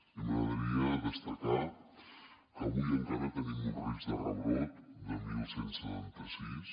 i m’agradaria destacar que avui encara tenim un risc de rebrot de onze setanta sis